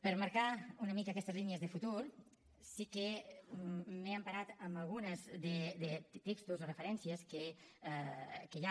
per marcar una mica aquestes línies de futur sí que m’he emparat amb alguns textos o referències que hi ha